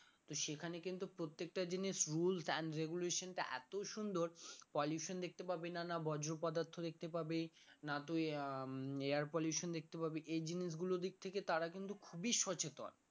তো সেখানে কিন্তু প্রত্যেকটা জিনিস rules and regulation টা এতই সুন্দর pollution দেখতে পাবি না না বজ্র পদার্থ দেখতে পাবি না তুই আহ উম air pollution দেখতে পাবি এই জিনিসগুলোর দিক থেকে তারা কিন্তু খুবই সচেতন